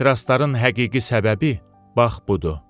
Ehtirasların həqiqi səbəbi bax budur.